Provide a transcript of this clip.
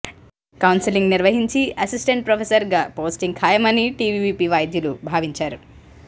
counselling నిర్వహించి assistant ప్రొఫెసర్గా posting ఖాయమని టీవీవీపీ వైద్యులు భావించారు